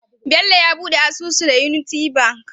Bello ya buɗe asusu da unity banki